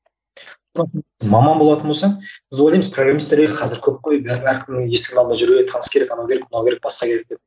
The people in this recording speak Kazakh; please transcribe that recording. маман болатын болсаң біз ойлаймыз программистер ей қазір көп қой бәрібір әркімнің есік алдында жүреді таныс керек анау керек мынау керек басқа керек деп